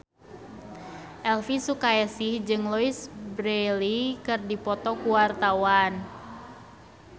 Elvi Sukaesih jeung Louise Brealey keur dipoto ku wartawan